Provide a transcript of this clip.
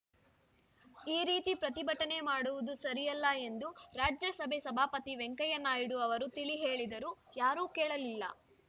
ಈ ರೀತಿ ಪ್ರತಿಭಟನೆ ಮಾಡುವುದು ಸರಿಯಲ್ಲ ಎಂದು ರಾಜ್ಯಸಭೆ ಸಭಾಪತಿ ವೆಂಕಯ್ಯನಾಯ್ಡು ಅವರು ತಿಳಿಹೇಳಿದರೂ ಯಾರೂ ಕೇಳಲಿಲ್ಲ